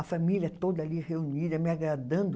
A família toda ali reunida, me agradando.